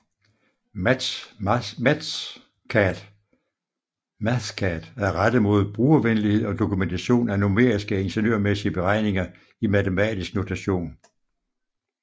Mathcad er rettet mod brugervenlighed og dokumentation af numeriske ingeniørmæssige beregninger i matematisk notation